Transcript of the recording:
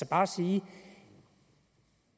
bare sige at